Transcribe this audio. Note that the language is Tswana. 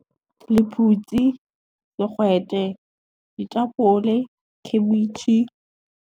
Lephutsi, digwete, ditapole, khabetšhe.